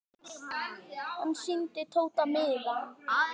Hann sýndi Tóta miðann.